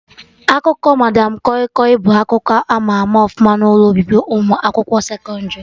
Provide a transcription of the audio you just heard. Akụkọ madam kọi kọi bụ akụkọ ama ama ọfụma n'ụlọ obibi ụmụ akwụkwọ sekọndrị